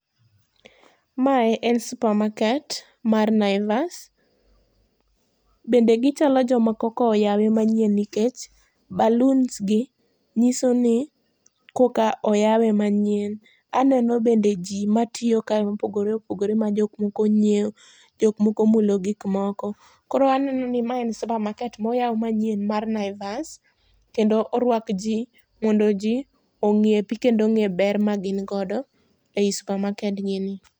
Mae en supermarket mar Naivas. Bende gichalo joma koka oyawe manyien nikech baloons gi nyiso ni koka oyawe manyien. Aneno bende ji matiyo kae mopogore opogore majokmoko nyieo, jokmoko mulo gikmoko. Koro aneno ni ma en supermarket moyaw manyien mar Naivas kendo orwak ji mondo ji ong'iepi kendo ong'e ber magin godo ei supamakedgini.